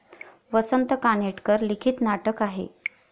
वसंत कानेटकर लिखित नाटक आहे.